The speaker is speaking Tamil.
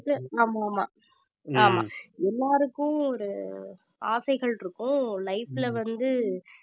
வந்துட்டு ஆமா ஆமா ஆமா எல்லாருக்கும் ஒரு ஆசைகள் இருக்கும் life ல வந்து